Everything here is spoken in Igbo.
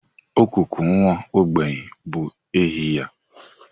Ọkụkọ nwa ogbenye bụ ehi ya.